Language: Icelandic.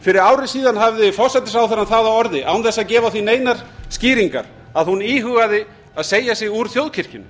fyrir ári síðan hafði forsætisráðherrann það á orði án þess að gefa því neinar skýringar að hún íhugaði að segja sig úr þjóðkirkjunni